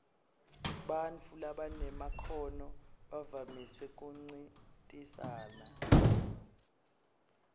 bantfu labanemakhono bavamise kuncintisana